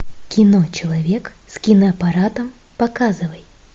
кино человек с киноаппаратом показывай